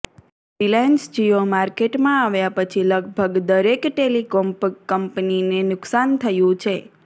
Reliance Jio માર્કેટમાં આવ્યા પછી લગભગ દરેક ટેલિકોમ કંપનીને નુકસાન થયું છે